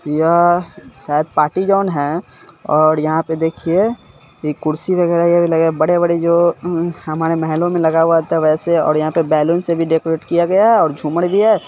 यह शायद party zone है और यहाँ पे देखिये ये कुर्सी वगेरा ये भी लगा हुआ है बड़े-बड़े जो हमारे महलों में लगाया हुआ रहता वैसे और यहाँ पे बैलून से भी डेकोरेट किया गया है और झूमर भी है।